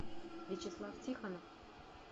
вячеслав тихонов